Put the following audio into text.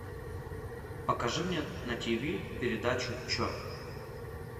покажи мне на тв передачу че